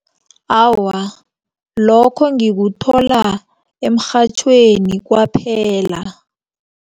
Awa, lokho ngikuthola emrhatjhweni kwaphela.